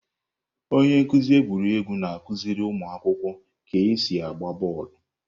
Onye nkuzi egwuregwu na-akụziri ụmụ akwụkwọ ka esi agba bọọlụ.